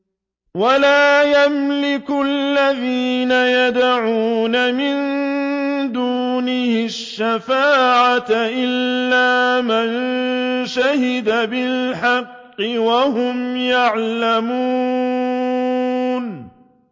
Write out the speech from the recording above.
وَلَا يَمْلِكُ الَّذِينَ يَدْعُونَ مِن دُونِهِ الشَّفَاعَةَ إِلَّا مَن شَهِدَ بِالْحَقِّ وَهُمْ يَعْلَمُونَ